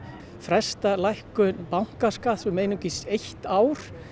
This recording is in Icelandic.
fresta lækkun bankaskatts um einungis eitt ár